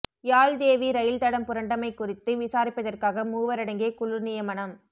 Yaldevi rail தடம் புரண்டமை குறித்து விசாரிப்பதற்காக மூவரடங்கிய குழு நியமனம்